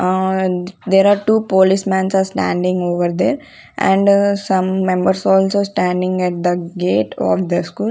Ahh There are two policemen's are standing over there and some members also standing at the gate of the school.